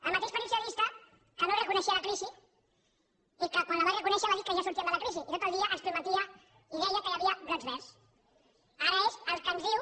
el mateix partit socialista que no reconeixia la crisi i que quan la va reconèixer va dir que ja sortíem de la crisi i tot el dia ens prometia i deia que hi havia brots verds ara és el que ens diu